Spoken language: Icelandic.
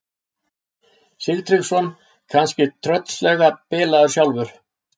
Sigtryggsson kannski tröllslega bilaður sjálfur?